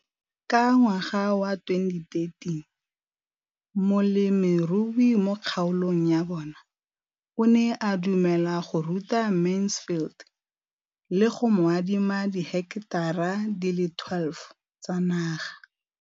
Ka ngwaga wa 2013, molemirui mo kgaolong ya bona o ne a dumela go ruta Mansfield le go mo adima di heketara di le 12 tsa naga.